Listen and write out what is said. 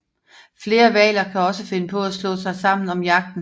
Flere hvaler kan også finde på at slå sig sammen om jagten